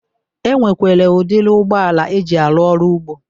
E nwekwere udiri ụgbọala eji arụ ọrụ ugbo.